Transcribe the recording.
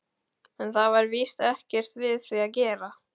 En það var víst ekkert við því að gera.